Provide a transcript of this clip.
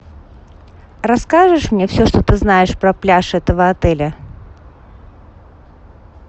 расскажешь мне все что ты знаешь про пляж этого отеля